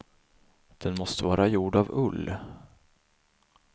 Den måste vara gjord av ull.